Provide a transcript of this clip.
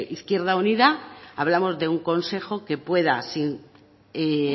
izquierda unida hablamos de un consejo que pueda